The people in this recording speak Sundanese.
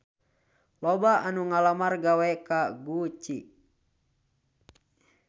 Loba anu ngalamar gawe ka Gucci